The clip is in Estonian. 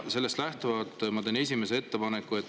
Sellest lähtuvalt ma teen esimese ettepaneku.